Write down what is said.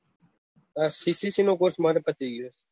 આ ccc નું course મારે પતિ ગયું